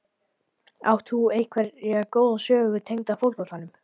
Átt þú einhverja góða sögu tengda fótboltanum?